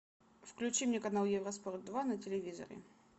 включи мне канал евроспорт два на телевизоре